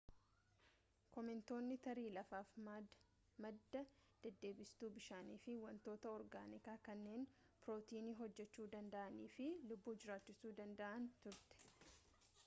koomeetonni tarii lafaaf madda deddeebistuu bishaanii fi wantoota orgaanikaa kanneen prootiinii hojjechuu danda'anii fi lubbuu jiraachisuu danda'anii turte